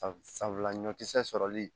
Sabula ɲɔkisɛ sɔrɔli